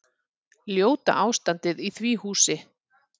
Ljóta ástandið í því húsi.